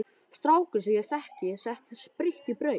Strákur sem ég þekki setti spritt í brauð.